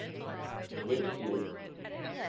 whitfield